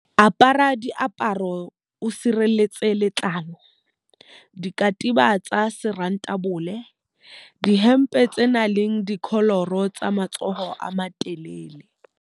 Apara diaparo tse o sirelletsang letlalo, dikatiba tsa serontabole, dihempe tse nang le dikholoro tsa matsoho a matelele.